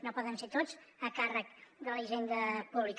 no poden ser tots a càrrec de la hisenda pública